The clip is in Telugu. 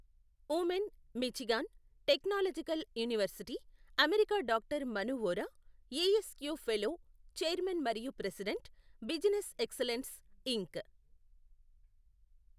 Oommen, Michigan, technological university, America doctor Manu Vora, A S Q fellow, chairman మరియు ప్రెసిడెంట్, బిజినెస్ ఎక్సలెన్స్. ఇంక్.